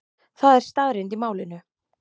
Það er staðreynd í málinu.